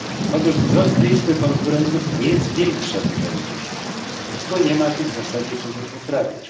Otóż wzrost liczby konkurentów nie zwiększa wydajności, bo nie ma tu w zasadzie czego poprawiać.